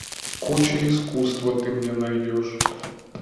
куча искусства ты мне найдешь